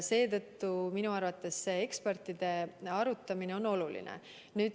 Seetõttu on minu arvates ekspertidega arutamine oluline.